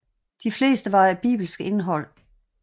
De fleste var af bibelsk indhold